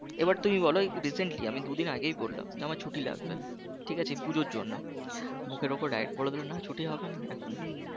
এবার তুমি বলো recently যে আমি দুদিন আগেই বললাম যে আমার ছুটি লাগবে ঠিক আছে এই পুজোর জন্য মুখের ওপর direct বলে দিলো যে না ছুটি হবেনা এখন